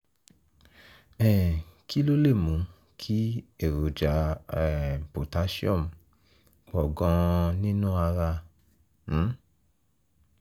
um kí ló lè mú kí èròjà um potassium pọ̀ gan-an nínú ara? um